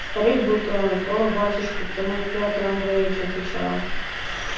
старик был тронут ох батюшка ты мой пётр андреевич отвечал он